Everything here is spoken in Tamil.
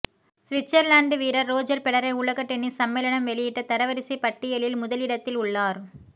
ஸ்விட்சர்லண்ட் வீரர் ரோஜர் பெடரர் உலக டென்னிஸ் சமேளனம் வெளியிட்ட தரவரிசை பட்டியலில் முதலிடத்தில் உள்ளார்